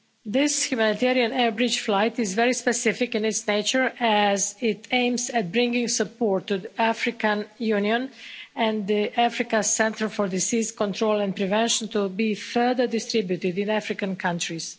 This humanitarian air bridge flight is very specific in its nature as it aims at bringing support to the African Union and the Africa Centres for Disease Control and Prevention to be further distributed in African countries.